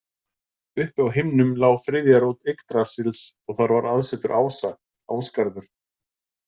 Uppi á himnum lá þriðja rót Yggdrasils og þar var aðsetur ása, Ásgarður.